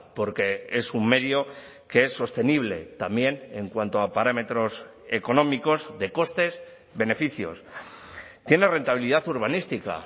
porque es un medio que es sostenible también en cuanto a parámetros económicos de costes beneficios tiene rentabilidad urbanística